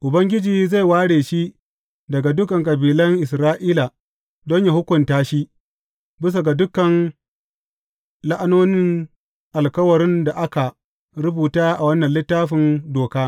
Ubangiji zai ware shi daga dukan kabilan Isra’ila don yă hukunta shi bisa ga dukan la’anonin alkawarin da aka rubuta a wannan Littafin Doka.